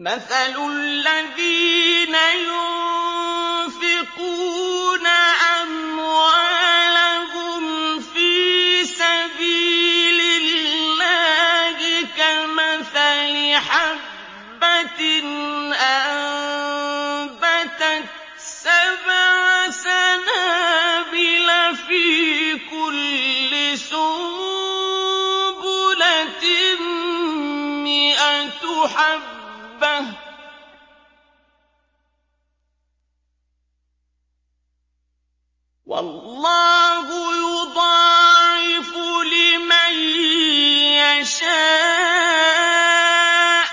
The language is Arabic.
مَّثَلُ الَّذِينَ يُنفِقُونَ أَمْوَالَهُمْ فِي سَبِيلِ اللَّهِ كَمَثَلِ حَبَّةٍ أَنبَتَتْ سَبْعَ سَنَابِلَ فِي كُلِّ سُنبُلَةٍ مِّائَةُ حَبَّةٍ ۗ وَاللَّهُ يُضَاعِفُ لِمَن يَشَاءُ ۗ